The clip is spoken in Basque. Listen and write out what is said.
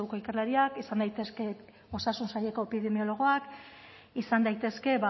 ikerlariak izan daitezke osasun saileko epidemiologoak izan daitezke